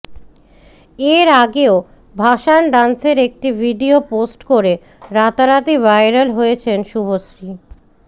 এর আগেও ভাসান ডান্সের একটি ভিডিও পোস্ট করে রাতারাতি ভাইরাল হয়েছেন শুভশ্রী